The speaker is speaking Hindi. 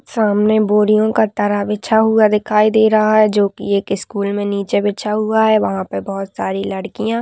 सामने बोरियों का टरा बिछा हुआ दिखाई दे रहा है जोकि एक स्कूल मे नीचे बिछा हुआ है वहां पे बहौत सारी लड़किया --